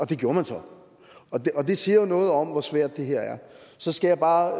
det gjorde man så og det siger jo noget om hvor svært det her er så skal jeg bare